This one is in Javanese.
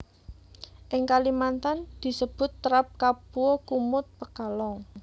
Ing Kalimantan disebut terap kapua kumut pekalong